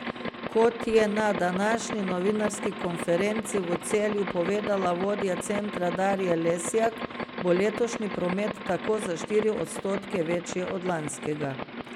Kot je na današnji novinarski konferenci v Celju povedala vodja centra Darja Lesjak, bo letošnji promet tako za štiri odstotke večji od lanskega.